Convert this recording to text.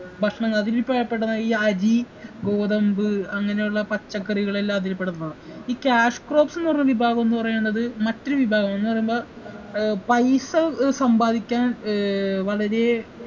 ഭക്ഷണങ്ങൾ അതില് പെ പെടുന്ന ഈ അരി ഗോതമ്പ് അങ്ങനെയുള്ള പച്ചക്കറികളെല്ലാം അതിൽപ്പെടുന്നതാ ഈ cash crops ന്ന് പറഞ്ഞ വിഭാഗംന്ന് പറയണത് മറ്റൊരു വിഭാഗാ എന്ന് പറയുമ്പോ ഏർ പൈസ ഏർ സമ്പാദിക്കാൻ ഏർ വളരെ